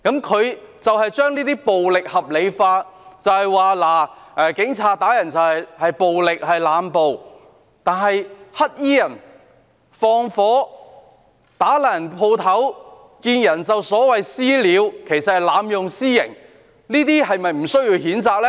他將這些暴力合理化，說警察打人是濫暴，但是，"黑衣人"縱火、破壞商鋪、"私了"——其實是濫用私刑——這些是否不需要譴責呢？